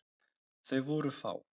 Þau voru fá.